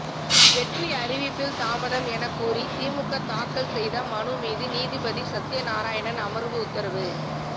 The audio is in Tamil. வெற்றி அறிவிப்பில் தாமதம் எனக்கூறி திமுக தாக்கல் செய்த மனு மீது நீதிபதி சத்தியநாராயணன் அமர்வு உத்தரவு